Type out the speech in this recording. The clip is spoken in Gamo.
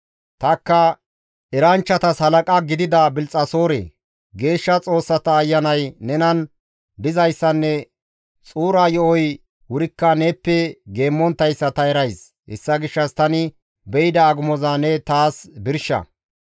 Tanikka, «Eranchchatas halaqa gidida Bilxxasoore! Geeshsha xoossata ayanay nenan dizayssanne xuura yo7oy wurikka neeppe geemmonttayssa ta erays; hessa gishshas tani be7ida agumoza ne taas birsha.